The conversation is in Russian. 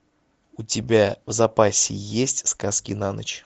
у тебя в запасе есть сказки на ночь